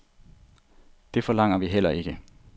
Det forlanger vi heller ikke.